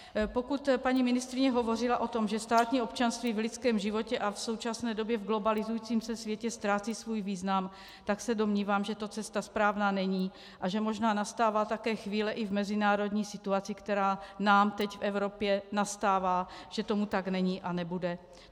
Pokud paní ministryně hovořila o tom, že státní občanství v lidském životě a v současné době v globalizujícím se světě ztrácí svůj význam, tak se domnívám, že to cesta správná není a že možná nastává také chvíle i v mezinárodní situaci, která nám teď v Evropě nastává, že tomu tak není a nebude.